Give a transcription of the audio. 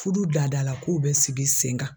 Fudu dada la kow bɛ sigi sen kan.